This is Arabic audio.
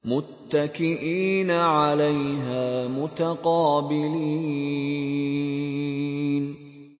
مُّتَّكِئِينَ عَلَيْهَا مُتَقَابِلِينَ